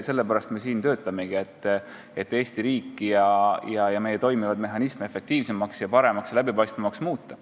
Sellepärast me siin töötamegi, et Eesti riiki ja meie toimivaid mehhanisme efektiivsemaks, paremaks ja läbipaistvamaks muuta.